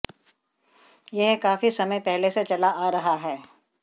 यह काफी समय पहले से चला आ रहा है